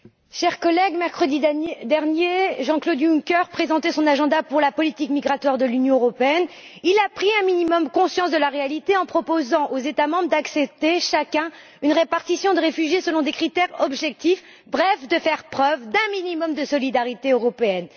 Monsieur le Président, chers collègues, mercredi dernier, Jean Claude Juncker présentait son programme pour la politique migratoire de l'Union européenne. Il a pris un minimum conscience de la réalité en proposant aux États membres d'accepter chacun une répartition des réfugiés selon des critères objectifs, bref, de faire preuve d'un minimum de solidarité européenne.